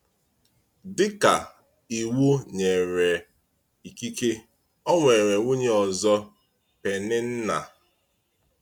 Dị ka Iwu nyere ikike, ọ nwere nwunye ọzọ — Pèninnà.